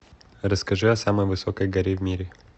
расскажи о самой высокой горе в мире